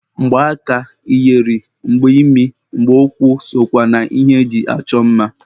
Mgba aka, iyeri, mgba imi, mgba ụkwụ sokwa na ihe eji achọ mma.